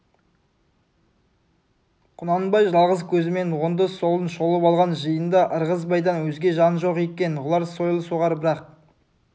құнанбай жалғыз көзімен оңды-солын шолып алған жиында ырғызбайдан өзге жан жоқ екен олар сойыл соғар бірақ